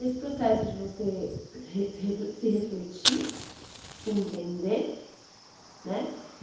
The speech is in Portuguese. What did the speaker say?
Esse processo de você se se refletir, se entender, né?